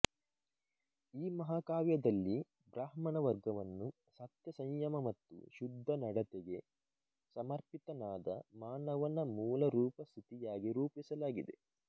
ಈ ಮಹಾಕಾವ್ಯದಲ್ಲಿ ಬ್ರಾಹ್ಮಣ ವರ್ಗವನ್ನು ಸತ್ಯ ಸಂಯಮ ಮತ್ತು ಶುದ್ಧ ನಡತೆಗೆ ಸಮರ್ಪಿತನಾದ ಮಾನವನ ಮೂಲರೂಪ ಸ್ಥಿತಿಯಾಗಿ ರೂಪಿಸಲಾಗಿದೆ